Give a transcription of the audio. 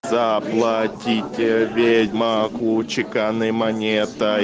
заплатите ведьмаку чеканной монетой